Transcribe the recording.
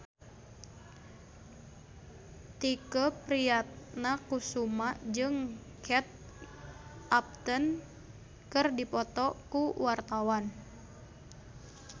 Tike Priatnakusuma jeung Kate Upton keur dipoto ku wartawan